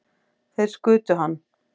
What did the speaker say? Þeir skutu hann